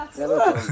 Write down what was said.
Hara qaçırsan?